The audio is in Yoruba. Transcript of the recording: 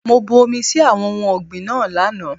Mo bu omi sí àwọn ohun ọ̀gbìn náà lánàá.